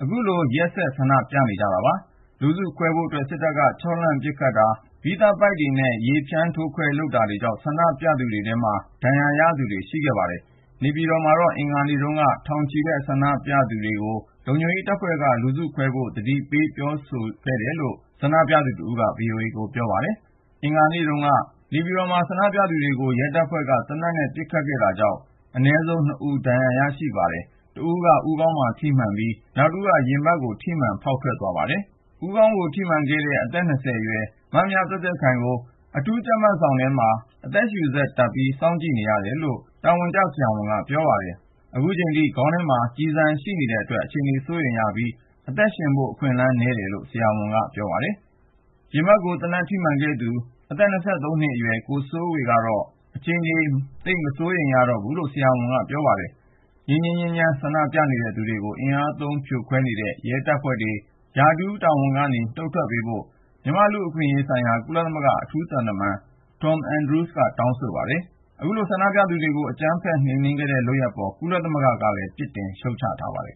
အခုလို ရက်ဆက် ဆန္ဒပြနေကြတာပါ။ လူစုခွဲဖို့အတွက် စစ်တပ်က ခြောက်လှန့် ပစ်ခတ်တာ၊ ရာဘာကျည်တွေ၊ မီးသတ်ပိုက်တွေနဲ့ ရေဖြန်းထိုးခွဲတာတွေလုပ်လာတာကြောင့် ဆန္ဒပြသူတွေထဲ ဒဏ်ရာရခဲ့သူတွေလည်း ရှိပါတယ်။ နေပြည်တော်မှာတော့ မနေ့တုန်းက ထောင်နဲ့ချီတဲ့ ငြိမ်းချမ်းစွာ ဆန္ဒပြနေသူတွေကို လုံခြုံရေးတပ်ဖွဲ့က လူစုခွဲဖို့ ဆက်တိုက် သတိပေး ပြောဆိုတယ်လို့ ဆန္ဒပြသူတဦးက VOA ကိုပြောပါတယ်။ အင်္ဂါနေ့တုန်းက နေပြည်တော်မှာဆန္ဒပြသူတွေကို ရဲတပ်ဖွဲ့က သေနတ်နဲ့ ပစ်ခတ်ခဲ့တာကြောင့် အနည်းဆုံး လူ ၂ ဦး ဒဏ်ရာရခဲ့ပါတယ်။ တဦးက ဦးခေါင်းကို သေနတ်ထိမှန်ခဲ့ပြီး နောက်တဦးက ရင်ဘတ်ကို ထိမှန်ခဲ့တာပါ။ ဦးခေါင်းကို သေနတ်ထိမှန်ခဲ့တဲ့ အသက် ၁၉ အရွယ် မမြသွဲ့သွဲ့ခိုင်ကို အခု အထူးကြပ်မတ်ခန်းထဲမှာ အသက်ရှုစက်တပ်ထားပြီး စောင့်ကြည့်နေရတယ်လို့ အမည်မဖော်လိုသူ ဆရာဝန်တဦးက ပြောပါတယ်။ အခုထိ ခေါင်းထဲမှာ ကျည်ဆန်ရှိနေသေးတာကြောင့် အခြေအနေက စိုးရိမ်ရပြီး အသက်ရှင်ဖို့ အခွင့်အလမ်းနည်းတယ်လို့ အဲဒီဆရာဝန်ကပြောပါတယ်။ ရင်ဘတ်ကို သေနတ်ထိမှန်ခဲ့တဲ့သူက အသက် ၂၃ နှစ်အရွယ် ကိုစိုးဝေဖြစ်ပါတယ်။ သူ့အခြေအနေကတော့ မစိုးရိမ်ရတော့ဘူးလို့ ဆရာဝန်က ပြောပါတယ်။ ငြိမ်းငြိမ်းချမ်းချမ်း ဆန္ဒပြနေတဲ့ သူတွေကို အင်အားသုံး ဖြိုခွဲနေတဲ့ ရဲတပ်ဖွဲ့ဝင်တွေ ရာထူးတာဝန်ကနေ နှုတ်ထွက်ပေးဖို့ မြန်မာ့လူ့အခွင့်အရေးဆိုင်ရာ ကုလသမဂ္ဂ အထူးသံတမန် Tom Andrews က တောင်းဆိုခဲ့ပါတယ်။ အခုလို ဆန္ဒပြသူတွေကို အကြမ်းဖက်နှိမ်နှင်းခဲ့တဲ့ လုပ်ရပ်အပေါ် ကုလသမဂ္ဂက ပြစ်တင်ရှုတ်ချထားပါတယ်